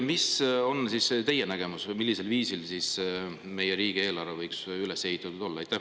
Mis on teie nägemus, millisel viisil meie riigieelarve võiks üles ehitatud olla?